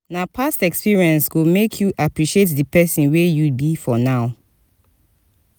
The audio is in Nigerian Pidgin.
na past experience go make you appreciate di pesin wey you be for now.